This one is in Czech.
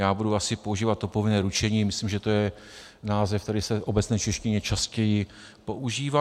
Já budu asi používat to povinné ručení, myslím, že to je název, který se v obecné češtině častěji používá.